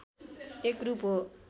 एक रूप हो